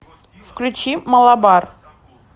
включи малабар